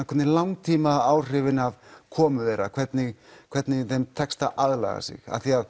hvernig langtímaáhrifin af komu þeirra hvernig hvernig þeim tekst að aðlaga sig af því að